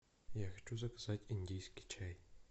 я хочу заказать индийский чай